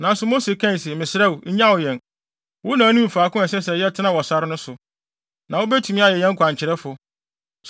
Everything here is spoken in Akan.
Nanso Mose kae se, “Mesrɛ wo, nnyaw yɛn. Wo na wunim faako a ɛsɛ sɛ yɛtena wɔ sare no so, na wubetumi ayɛ yɛn kwankyerɛfo.